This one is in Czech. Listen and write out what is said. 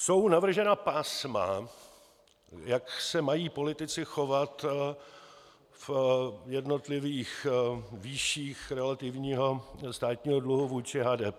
Jsou navržena pásma, jak se mají politici chovat v jednotlivých výších relativního státního dluhu vůči HDP.